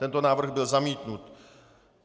Tento návrh byl zamítnut.